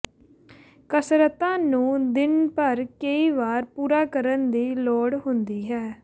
ਕਸਰਤਾਂ ਨੂੰ ਦਿਨ ਭਰ ਕਈ ਵਾਰ ਪੂਰਾ ਕਰਨ ਦੀ ਲੋੜ ਹੁੰਦੀ ਹੈ